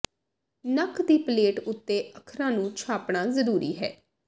ਨੱਕ ਦੀ ਪਲੇਟ ਉੱਤੇ ਅੱਖਰਾਂ ਨੂੰ ਛਾਪਣਾ ਜ਼ਰੂਰੀ ਹੈ